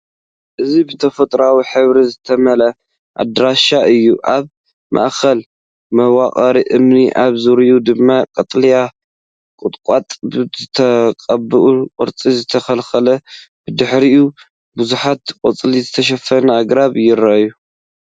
እዚ ብተፈጥሮኣዊ ሕብሪ ዝተመልአ ኣዳራሽ እዩ። ኣብ ማእከሉ መዋቕር እምኒ፡ ኣብ ዙርያኡ ድማ ቀጠልያ ቁጥቋጥ ብተቐባሊ ቅርጺ ዝተተኽለ፤ ብድሕሪኡ፡ ብብዙሕ ቆጽሊ ዝተሸፈኑ ኣግራብ ይረኣዩ።